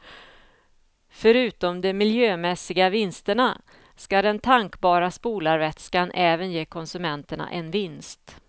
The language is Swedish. Förutom de miljömässiga vinsterna skall den tankbara spolarvätskan även ge konsumenterna en vinst.